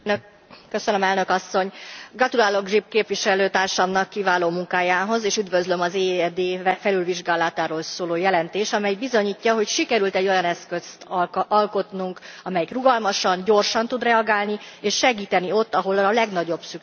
Elnök Asszony, gratulálok Grzyb képviselőtársamnak kiváló munkájához, és üdvözlöm az EED felülvizsgálatáról szóló jelentést, amely bizonyítja, hogy sikerült olyan eszközt alkotnunk, amely rugalmasan, gyorsan tud reagálni és segíteni ott, ahol a legnagyobb szükség van.